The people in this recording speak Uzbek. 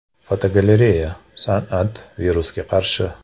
Fotogalereya: San’at virusga qarshi.